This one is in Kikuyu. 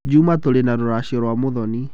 Juma tũrĩ na rũracio rwa Mũthoni.